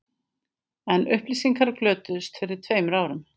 En upplýsingarnar glötuðust fyrir tveimur árum